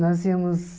Nós íamos...